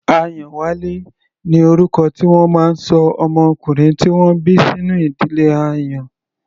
Ayanwale ni orúkọ tí wọ́n máa ń ṣọ ọmọkùnrin tí wọ́n bí sínú ìdílé Àyàn.